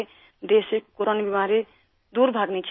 ہمارے ملک سے کورونا بیماری دور بھاگنی چاہیے